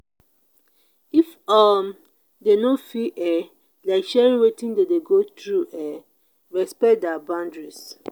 if um them no feel um like sharing wetin dem de go through um respect their boundaries